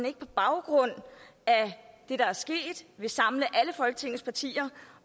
ikke på baggrund af det der er sket vil samle alle folketingets partier